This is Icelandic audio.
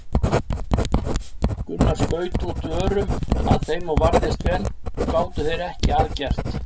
Gunnar skaut út örum að þeim og varðist vel og gátu þeir ekki að gert.